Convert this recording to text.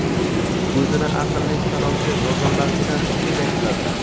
o‘zini aqlli sanovchi nodonlargina shunday qiladilar.